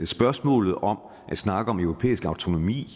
spørgsmålet om at snakke om europæisk autonomi